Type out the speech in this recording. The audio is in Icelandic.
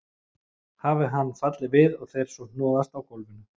Hafi hann fallið við og þeir svo hnoðast á gólfinu.